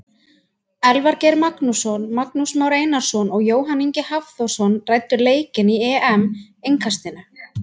Elvar Geir Magnússon, Magnús Már Einarsson og Jóhann Ingi Hafþórsson ræddu leikinn í EM innkastinu.